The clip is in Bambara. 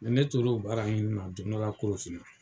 Ne tor'o baara ɲinina don dɔ la Korofina.